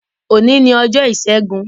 Òní ni ọjọ́ Ìṣẹ́gun.